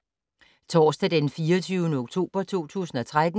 Torsdag d. 24. oktober 2013